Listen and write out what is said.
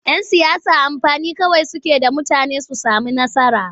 Yan siyasa mafani kawai suke da mutane su sami nasara.